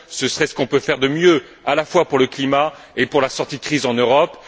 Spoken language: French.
Ce serait ce qu'on peut faire de mieux à la fois pour le climat et pour la sortie de crise en Europe.